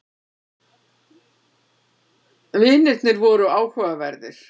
Vinirnir voru áhugaverðir.